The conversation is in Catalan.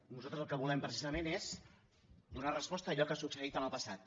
nosaltres el que volem precisament és donar resposta a allò que ha succeït en el passat